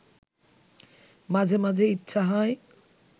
মাঝে মাঝে ইচ্ছে হয়